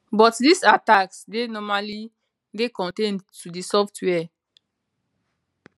but dis attacks dey normally dey contained to di software